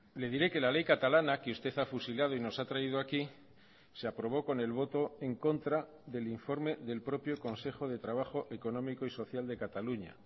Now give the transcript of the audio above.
le diré que la ley catalana que usted ha fusilado y nos ha traído aquí se aprobó con el voto en contra del informe del propio consejo de trabajo económico y social de cataluña